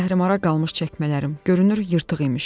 Zəhri-mara qalmış çəkmələrim görünür yırtıq imiş.